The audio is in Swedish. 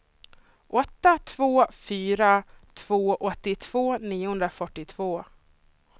åtta två fyra två åttiotvå niohundrafyrtiotvå